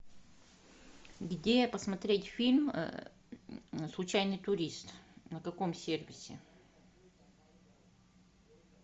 где посмотреть фильм случайный турист на каком сервисе